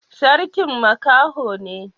Sarkin makaho ne.